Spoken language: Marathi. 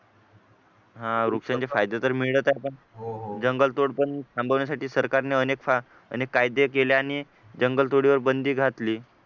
हा वृक्षाचे फायदे तर मिळतात जंगलतोड पण थांबवण्यासाठी सरकारने अनेक अनेक कायदे केले आणि जंगल तोडीवर बंदी घातली